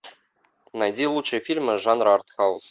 найди лучшие фильмы жанра артхаус